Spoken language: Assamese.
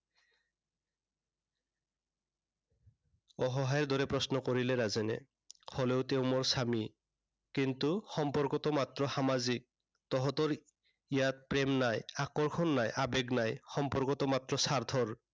অসহায়ৰ দৰে প্ৰশ্ন কৰিলে ৰাজেনে। হ'লেও তেওঁ মোৰ স্বামী। কিন্তু সম্পৰ্কটো মাত্ৰ সামাজিক। তহঁতৰ ইয়াত প্ৰেম নাই, আকৰ্ষণ নাই, আবেগ নাই। সম্পৰ্কটো মাত্ৰ স্বাৰ্থৰ।